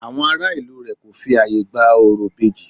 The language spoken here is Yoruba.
Àwọn ará ìlú rẹ̀ kò fi ààyè gba orò ìbejì